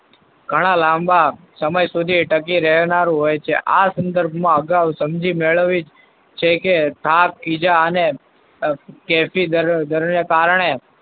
ઘણા લાંબા સમય સુધી ટકી રહેનારું હોય છે. આ સંદર્ભમાં અગાઉં સમજી મેળવી છે કે હાથીજા અને કારણે